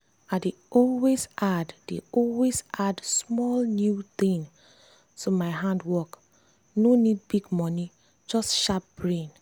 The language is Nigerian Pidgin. i dey always add dey always add small new thing to my handwork no need big money just sharp brain.